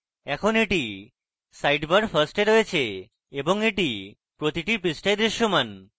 এখন এটি sidebar first এ রয়েছে এবং এটি প্রতিটি পৃষ্ঠায় দৃশ্যমান